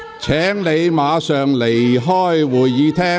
許智峯議員，請你離開會議廳。